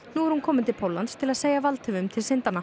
nú er hún komin til Póllands til að segja valdhöfum til syndanna